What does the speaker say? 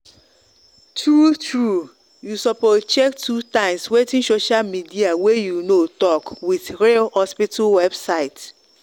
true true you suppose check two times wetin social media way you know talk with real hospita website.